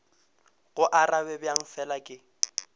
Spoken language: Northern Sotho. go arabe bjang fela ke